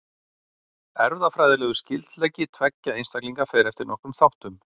Erfðafræðilegur skyldleiki tveggja einstaklinga fer eftir nokkrum þáttum.